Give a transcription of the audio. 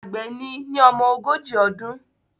Àgbẹ̀ ni ní ọmọ ogójì ọdún